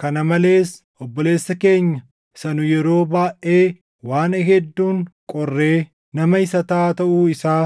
Kana malees obboleessa keenya isa nu yeroo baayʼee waan hedduun qorree nama hisataa taʼuu isaa